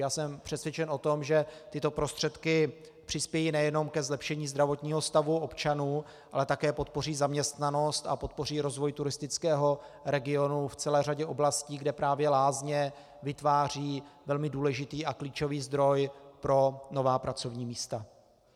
Já jsem přesvědčen o tom, že tyto prostředky přispějí nejenom ke zlepšení zdravotního stavu občanů, ale také podpoří zaměstnanost a podpoří rozvoj turistického regionu v celé řadě oblastí, kde právě lázně vytvářejí velmi důležitý a klíčový zdroj pro nová pracovní místa.